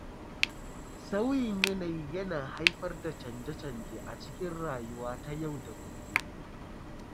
Sauyin yanayi yana haifar da chanje-chanjen a cikin rayuwa ta yau da gobe.